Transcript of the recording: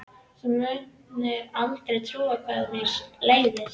Þú mundir aldrei trúa hvað mér leiðist.